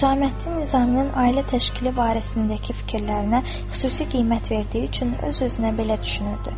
Hüsaməddin Nizaminin ailə təşkili barəsindəki fikirlərinə xüsusi qiymət verdiyi üçün öz-özünə belə düşünürdü.